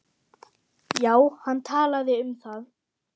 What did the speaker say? Já, hann talaði um það.